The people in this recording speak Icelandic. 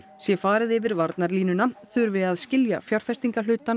sé farið yfir varnarlínuna þurfi að skilja